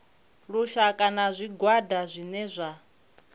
lushaka na zwigwada zwine zwa